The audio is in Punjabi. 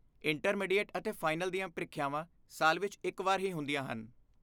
ਇੰਟਰਮੀਡੀਏਟ ਅਤੇ ਫਾਈਨਲ ਦੀਆਂ ਪ੍ਰੀਖਿਆਵਾਂ ਸਾਲ ਵਿੱਚ ਇੱਕ ਵਾਰ ਹੀ ਹੁੰਦੀਆਂ ਹਨ।